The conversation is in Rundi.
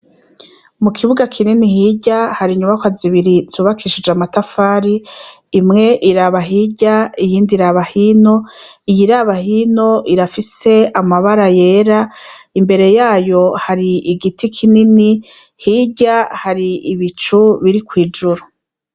Mu kibuga kinini hirya hari inyubakwa zibiri zubakishije amatafari imwe iraba hirya iyindi hino iyiraba hino irafise amabara yera imbere yayo hari igiti kinini hirya hari bicu biri kwijuru.